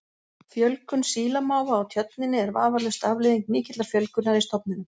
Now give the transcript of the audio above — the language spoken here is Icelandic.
Fjölgun sílamáfa á Tjörninni er vafalaust afleiðing mikillar fjölgunar í stofninum.